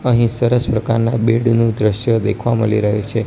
અહીં સરસ પ્રકારના બેડ નુ દ્રશ્ય દેખવા મલી રહ્યુ છે.